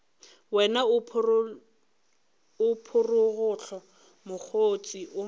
wena o phorogohlo mokgotse o